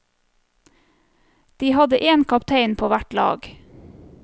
De hadde en kaptein på hvert lag.